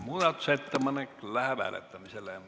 Muudatusettepanek läheb hääletamisele.